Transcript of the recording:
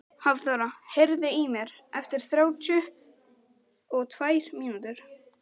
Hafþóra, heyrðu í mér eftir þrjátíu og tvær mínútur.